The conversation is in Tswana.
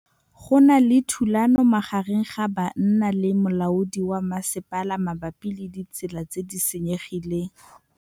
Go na le thulanô magareng ga banna le molaodi wa masepala mabapi le ditsela tse di senyegileng.